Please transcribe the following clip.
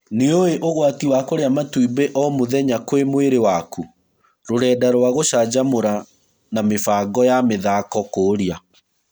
Nĩũĩ ũgwati wa kũrĩa matumbĩ o mũtgenya kwĩ mwĩrĩ waku? Rũrenda rwa gũcanjamũra na mĩbango ya mĩthako kũria .